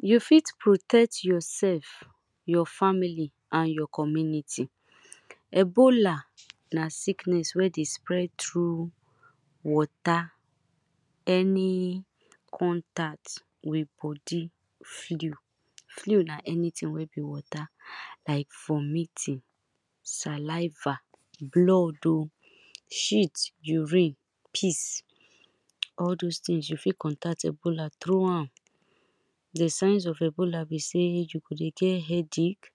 You fit protect yourself, your family and your community. Ebola na sickness wey dey spread through water, any contact with body flu, flu na anything wey be water like vomiting, saliva, blood oh, shit, urine, piss all doz things if you fit contact ebola through am. Di signs of ebola be sey, you go dey get head ache,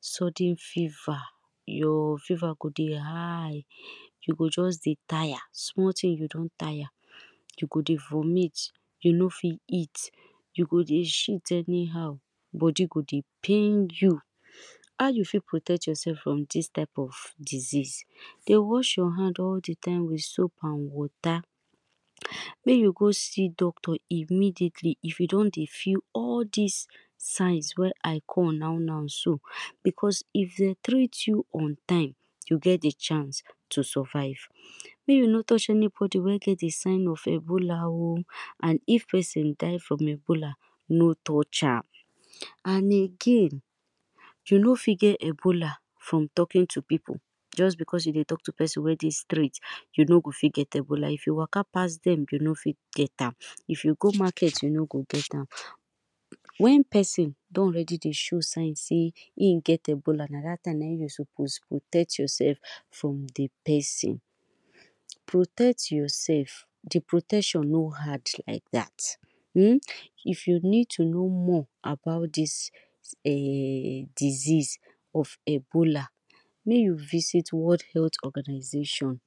sudden fever, your fever go dey high, you go just dey tire, small thing you don tire, you go dey vomit, you no fit eat, you go dey shit anyhow, body go dey pain you. How you fit protect yourself from dis type of disease, dey wash your hands all di time with soap and water, make you go see doctor immediately if you don dey feel all dis signs wey I call now now so, because if dem treat you on time, you get di chance to survive, make you no touch anybody wey get di signs of ebola oh, and if person die from ebola, no touch am and again you fit just get ebola from talking to people, just because you dey talk to person wey dey street you no fit get ebola, if you waka pass dem you no fit get am. If you go market you nor go get am, wen person don already dey show sign sey im get ebola, na dat time na im you suppose dey protect yourself from di person, protect yourself, di protection no hard like dat [urn] if you need to know more about dis [urn] disease of ebola, s make you visit world health organisation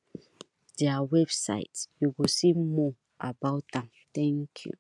their website you go see more about am, thank you.